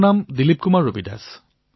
মোৰ নাম দিলীপ কুমাৰ ৰবিদাস